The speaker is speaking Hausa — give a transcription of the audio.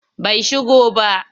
Bai shigo ba.